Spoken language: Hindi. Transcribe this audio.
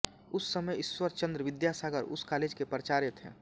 उस समय ईश्वर चन्द्र विद्यासागर उस कॉलेज के प्राचार्य थे